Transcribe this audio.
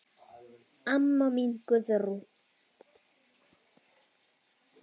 Amma mín Guðrún.